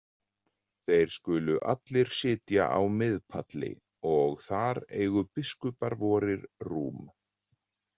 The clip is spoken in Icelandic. Þeir skulu allir sitja á miðpalli, og þar eigu biskupar vorir rúm.